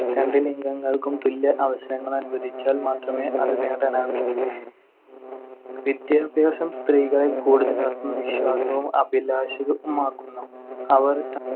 രണ്ട് ലിംഗങ്ങൾക്കും തുല്യ അവസരങ്ങൾ അനുവദിച്ചാൽ മാത്രമേ അത് നേടാനാകൂ. വിദ്യാഭ്യാസം സ്ത്രീകളിൽ കൂടുതൽ ആത്മവിശ്വാസവും അഭിലാഷവുമാക്കുന്നു. അവർ